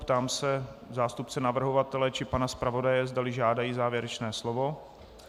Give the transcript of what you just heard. Ptám se zástupce navrhovatele či pana zpravodaje, zdali žádají závěrečné slovo.